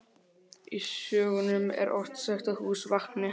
Í sögum er oft sagt að hús vakni.